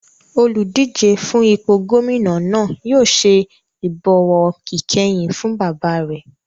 Oludije fún ipò gómìnà náà yóò ṣe ìbọ̀wọ̀ ìkẹyìn fún bàbá rẹ̀